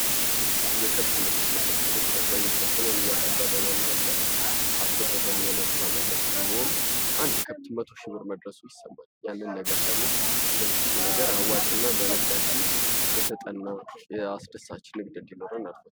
የከብት ንግድ:- የከብት ንግድ አብዛኞቻችንን እያከበረን እና እያስወደደን የመጣ ነገር ሲሆን አንድ ከብት መቶ ሺ ብር መድረሱ ይሰማል። ያንን ነገር ደግሞ ብዙ ነገር አዋጭና በንግዳችን የተጠና አስደሳች ንግድ እንዲኖረን ያደርጋል።